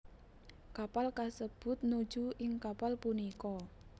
Kapal kasebut nuju ing kapal punika